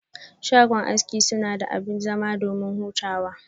Shago aski sunada abin zama domin hutawa.